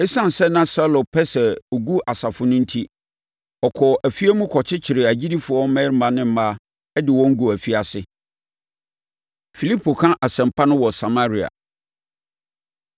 Esiane sɛ na Saulo pɛ sɛ ɔgu asafo no enti, ɔkɔɔ afie mu kɔkyekyeree agyidifoɔ mmarima ne mmaa de wɔn guu afiase. Filipo Ka Asɛmpa No Wɔ Samaria